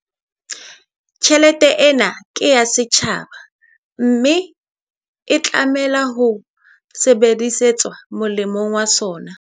Tjhelete ena ke ya setjhaba, mme e tlameha ho sebedisetswa molemong wa sona.